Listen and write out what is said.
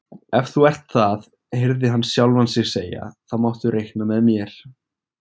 Ef þú ert það heyrði hann sjálfan sig segja, þá máttu reikna með mér